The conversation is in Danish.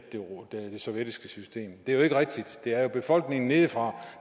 det sovjetiske system det er jo ikke rigtigt det er jo befolkningen nedefra